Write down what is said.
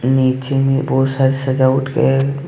नीचे में बहुत सारी सजावट गया है।